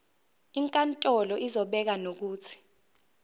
inkantolo izobeka nokuthi